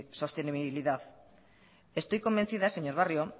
sostenibilidad estoy convencida señor barrio